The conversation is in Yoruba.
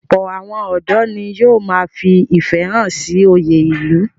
Ọ̀pọ̀ àwọn ọ̀dọ́ ni yóò ma fi ìfẹ́ hàn sí oyè ìlú.